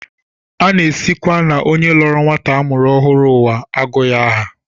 A na-esikwa n'onye lọọrọ nwata a mụrụ ọhụrụ ụwa agụ ya aha